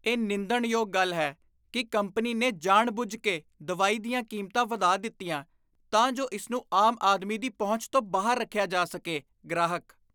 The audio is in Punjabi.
ਇਹ ਨਿੰਦਣਯੋਗ ਗੱਲ ਹੈ ਕੀ ਕੰਪਨੀ ਨੇ ਜਾਣਬੁੱਝ ਕੇ ਦਵਾਈ ਦੀਆਂ ਕੀਮਤਾਂ ਵਧਾ ਦਿੱਤੀਆਂ ਤਾਂ ਜੋ ਇਸ ਨੂੰ ਆਮ ਆਦਮੀ ਦੀ ਪਹੁੰਚ ਤੋਂ ਬਾਹਰ ਰੱਖਿਆ ਜਾ ਸਕੇ ਗ੍ਰਾਹਕ